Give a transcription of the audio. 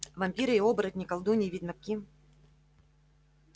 вампиры и оборотни колдуньи и ведьмаки